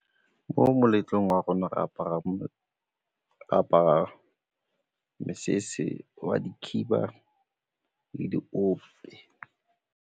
Mo moletlong wa rona re apara mosese wa dikhiba le diope.